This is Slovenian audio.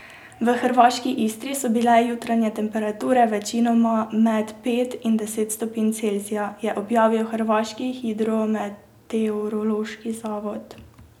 V hrvaški Istri so bile jutranje temperature večinoma med pet in deset stopinj Celzija, je objavil hrvaški hidrometeorološki zavod.